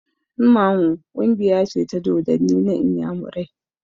Mmanwu ƙungiya ce ta dodanni na inyamurai